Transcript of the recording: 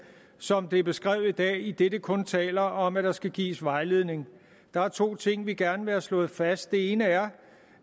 som det er beskrevet i dag idet det kun taler om at der skal gives vejledning der er to ting vi gerne vil have slået fast det ene er